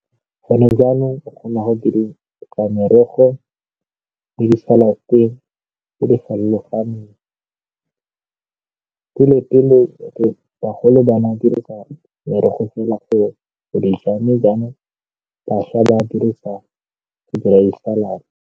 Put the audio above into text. Gone jaanong o kgona go merogo le di salad-e tse di farologaneng. Pele-pele bagolo ba nna dirisa merogo fela go mme jaanong bašwa ba dirisa go dira di-salad.